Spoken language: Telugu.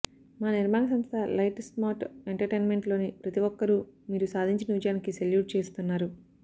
మా నిర్మాణ సంస్థ లైట్ స్టార్మ్ ఎంటర్టైన్మెంట్లోని ప్రతి ఒక్కరూ మీరు సాధించిన విజయానికి సెల్యూట్ చేస్తున్నారు